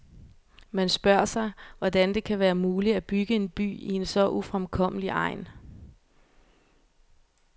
Man spørger sig, hvordan det har være muligt at bygge en by i en så ufremkommelig egn.